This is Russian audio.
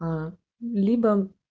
аа либо